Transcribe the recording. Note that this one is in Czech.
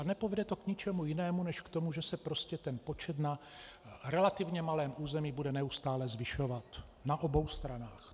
A nepovede to k ničemu jinému než k tomu, že se prostě ten počet na relativně malém území bude neustále zvyšovat na obou stranách.